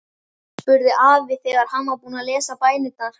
spurði afi þegar hann var búinn að lesa bænirnar.